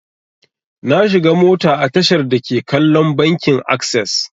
Na shiga mota a tashar dake kallon bankin akses.